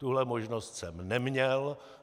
Tuhle možnost jsem neměl.